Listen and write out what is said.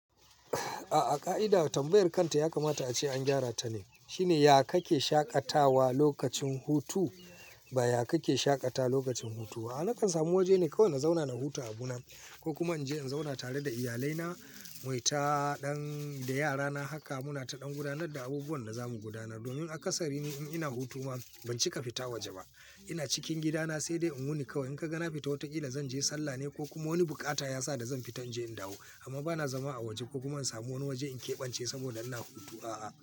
A'a ƙa'ida tambayar kanta yakamata ace an gyara ta ne. Shine ya kake shaƙatawa lokacin hutu ba ya kake shaƙatawa lokacin hutu. A'a na kan samu waje ne kawai in zauna na huta a abuna ko kuma in je in zauna tare da iyalai na, muyi ta ɗan da yara na haka muna ta ɗan gudanar da abubuwan da za mu gudanar. Domin a ƙasari ne in ina hutu ma ban cika fita waje ba. Ina cikin gida na sai dai in wuni kawai. In ka ga na fita wataƙila zan je sallah ne ko kuma wani buƙata ya sa da zan fita in je in dawo. Amma ba na zama a waje ko kuma in samu wani waje in keɓance saboda ina hutu a'a.